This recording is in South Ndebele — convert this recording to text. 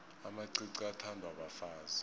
amacici athandwa bafazi